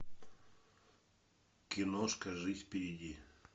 киношка жизнь впереди